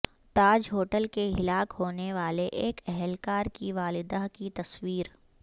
تاج hotel کے ہلاک ہونے والے ایک اہلکار کی والدہ کی تصویر